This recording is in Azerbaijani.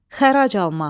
Xərac almaq.